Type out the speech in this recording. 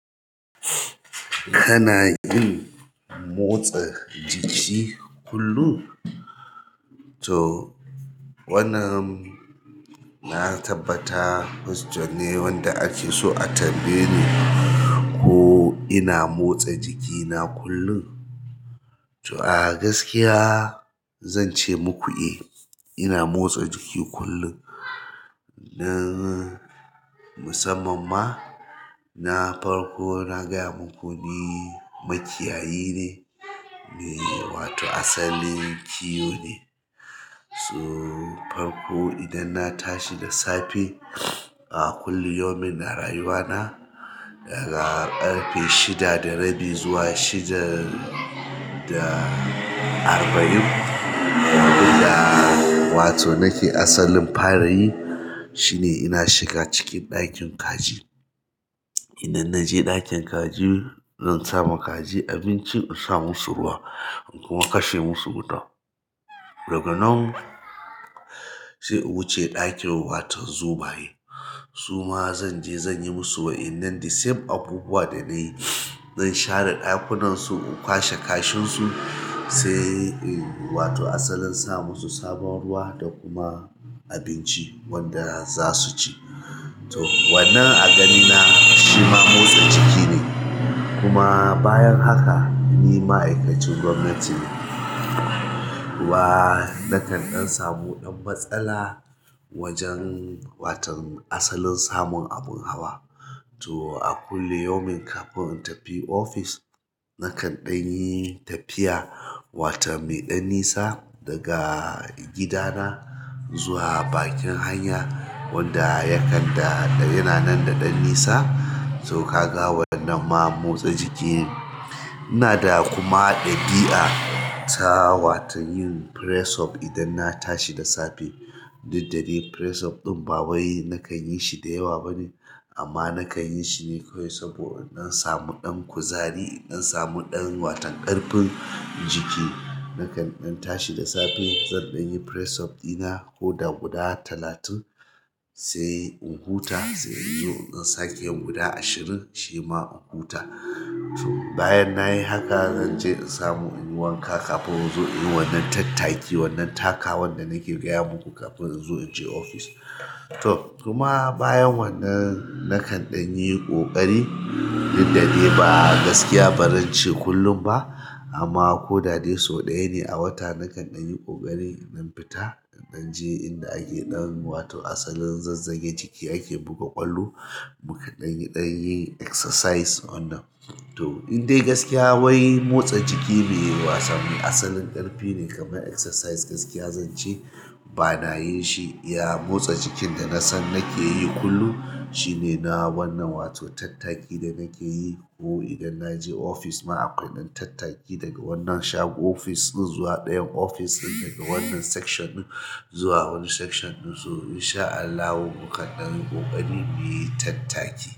Wai kana yin motsa jiki kullum? Toh wannan na tabbata question ne wanda ake a so a tambaye ni ko ina motsa jiki kullum to a gaskiya zan ce muku eh, ina motsa jiki kullum. Na musamman ma, na farko na gaya muku ni makiyayi ne, me wato asalin kiwo ne. So farko idan na tashi da safe, a kullum yaumin a rayuwa na, daga ƙarfe shida da rabi zuwa shida da arba'in abunda wato nake asalin fara yi shine ina shiga cikin ɗakin kaji idan na je ɗakin kaji, zan sa ma kaji abinci, in sa musu ruwa kuma kashe musu wuta. Daga nan sai in wuce ɗakin waton zomaye. Su ma zan je zan yi musu wa'inan the same abubuwa da na yi. Zan share ɗakunan su, in kwashe kashin su, sai in wato asalin sa musu sabon ruwa da kuma abinci wanda za su ci. To wannan a ganina shi ma motsa jiki ne. Kuma bayan haka, ni ma'aikacin gwamnati ne. Wa nakan ɗan samu ɗan matsala wajen waton asalin samun abin hawa. To a kullu yaumin kafin in tafi ofis, nakan ɗan yi tafiya wata mai ɗan nisa daga gidana zuwa bakin hanya wanda ya kan yana nan da ɗan nisa. To ka ga wannan ma motsa jiki ne. Ina da kuma ɗabi'a ta watan yin press up idan na tashi da safe. Duk da dai press up ɗin ba wai nakan yi shi da yawa ba ne amma nakan yi shi ne kawai saboda in samu ɗan kuzari, in samu ɗan watan ƙarfin jiki. Nakan ɗan tashi da safe, zan ɗan yi press up dina ko da guda talatin sai in huta, sai in zo in dan sake yin guda ashirin shi ma in huta. To bayan na yi haka zan je in samu in yi wanka kafin zo yin wannan tattaki wannan taka wanda nake gaya muku kafin in zo in je ofis. To kuma bayan wannan nakan ɗan yi ƙoƙari duk da dai ba a gaskiya ba zan ce kullum ba amma ko da dai sau ɗaya ne a wata nakan ɗan yi ƙoƙari. Na fita, na je inda ake ɗan wato asalin zazzage jiki ake buga ƙwallo. Mu ka ɗan yi ɗan yi exercise wannan. To indai gaskiya wai motsa jiki ne wasa ne asalin ƙarfi ne kamar exercise gaskiya zan ce ba na yin shi. Ya motsa jikin da na san nake yi kullum shine na wannan wato tattaki da nake yi ko idan na je ofis ma a ƙa'idar tattaki daga wannan shagon ofis ɗin zuwa ɗayan ofis ɗin, daga wannan section ɗin zuwa wani section ɗin sau in sha Allahu mu ka ɗan yi ƙoƙari mu yi tattaki.